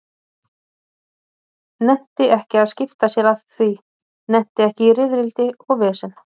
Nennti ekki að skipta sér af því, nennti ekki í rifrildi og vesen.